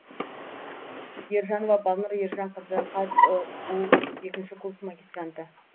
ержанова балнұр ержанқызы қазұу екінші курс магистранты